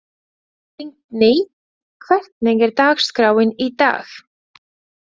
Lingný, hvernig er dagskráin í dag?